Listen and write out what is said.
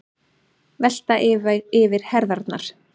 Velta yfir herðarnar.